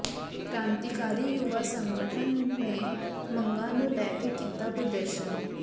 ਕ੍ਰਾਂਤੀਕਾਰੀ ਯੁਵਾ ਸੰਗਠਨ ਨੇ ਮੰਗਾਂ ਨੂੰ ਲੈ ਕੇ ਕੀਤਾ ਪ੍ਰਦਰਸ਼ਨ